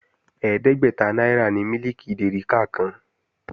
Ẹ̀ẹ́dẹ́gbẹ́ta náírà ni mílìkì dèríkà kan